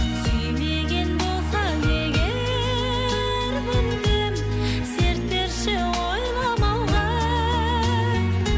сүймеген болсаң егер мүмкін серт берші ойламауға